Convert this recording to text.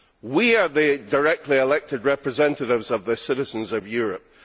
We are the directly elected representatives of the citizens of Europe.